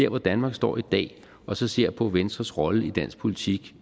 hvor danmark står i dag og så ser på venstres rolle i dansk politik